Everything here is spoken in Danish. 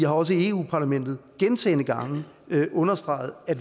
også i europa parlamentet gentagne gange understreget at